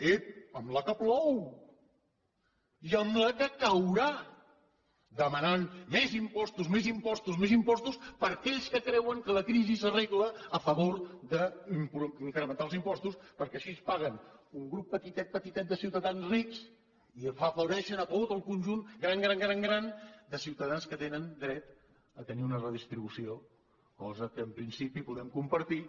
ep amb el que plou i amb la que caurà demanant més impostos més impostos més impostos per aquells que creuen que la crisi s’arregla a favor d’incrementar els impostos perquè així paguen un grup petitet petitet de ciutadans rics i afavoreixen tot el conjunt gran gran gran de ciutadans que tenen dret a tenir una redistribució cosa que en principi podem compartir